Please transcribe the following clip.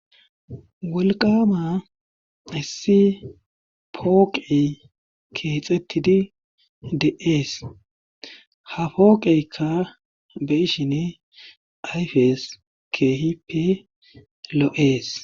Wolqaama hessi pooqey keexettidi de7ees ha pooqeykka be7ishini ayfes keehippe lo7ees.